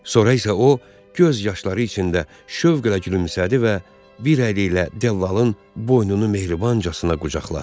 Sonra isə o göz yaşları içində şövqlə gülümsədi və bir əli ilə dəllalın boynunu mehribancasına qucaqladı.